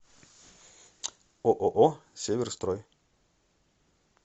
ооо северстрой